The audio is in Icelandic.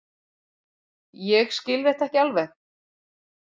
Ég skil þetta ekki alveg.